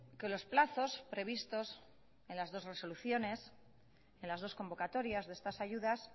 que los plazos previstos en las dos resoluciones en las dos convocatorias de estas ayudas